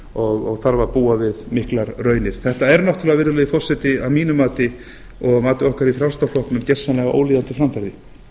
gettói og þarf að búa við miklar raunir þetta er náttúrulega virðulegi forseti að mínu mati og að mati okkar í frjálslynda flokknum gersamlega ólíðandi framferði